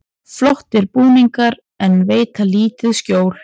Flottir búningar en veita lítið skjól